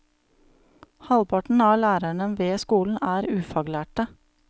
Halvparten av lærerne ved skolen er ufaglærte.